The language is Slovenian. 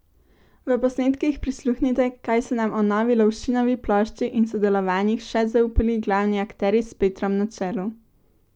V posnetkih prisluhnite, kaj so nam o novi Lovšinovi plošči in sodelovanjih še zaupali glavni akterji s Petrom na čelu!